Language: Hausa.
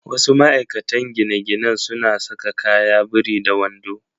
Wasu ma'aikatan gine-ginen suna saka kaya biri da wando.